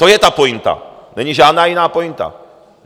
To je ta pointa, není žádná jiná pointa.